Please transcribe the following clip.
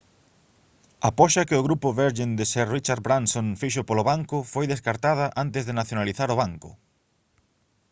a poxa que o grupo virgin de sir richard branson fixo polo banco foi descartada antes de nacionalizar o banco